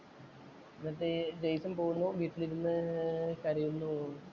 എന്നിട്ട് ജയ്സണ്‍ പോകുമ്പോ ജീപ്പിലിരുന്നു കരയൂന്നു തോന്നുന്നു.